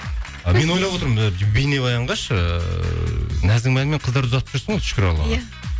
і мен ойлап отырмын і бейнебаянға ше ыыы нәзігім әнімен қыздарды ұзатып жүрсің ғой шүкір аллаға иә